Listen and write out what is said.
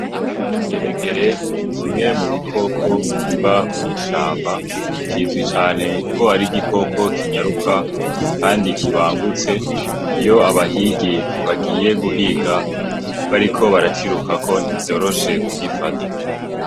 Ingeregere ni kimwe mu bikoko biba mw'ishamba, kizwi cane ko ari igikoko kinyaruka kandi kibangutse. Iyo abahigi bagiye guhiga bariko baracirukako ntivyoroshe kugifata.